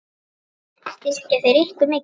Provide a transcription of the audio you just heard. Styrkja þeir ykkur mikið?